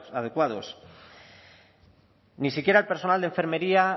adecuados ni siquiera el personal de enfermería